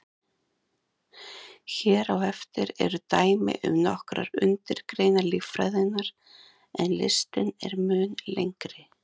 Hér á eftir eru dæmi um nokkrar undirgreinar líffræðinnar, en listinn er mun lengri.